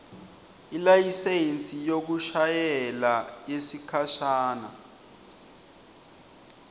ilayisensi yekushayela yesikhashana